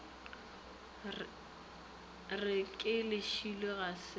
re ke lešilo ga se